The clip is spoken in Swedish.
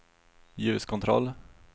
ljuskontroll